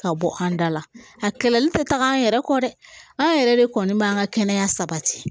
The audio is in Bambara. Ka bɔ an da la a kɛlɛli tɛ taga an yɛrɛ kɔ dɛ an yɛrɛ de kɔni b'an ka kɛnɛya sabati